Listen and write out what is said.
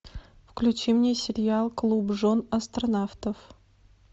включи мне сериал клуб жен астронавтов